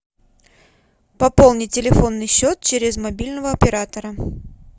пополни телефонный счет через мобильного оператора